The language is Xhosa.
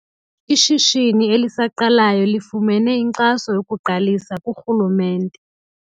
Ishishini elisaqalayo lifumene inkxaso yokuqalisa kurhulumente.